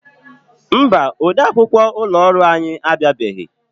Mba, ode akwukwọ ụlọ ọrụ anyị abịabeghị.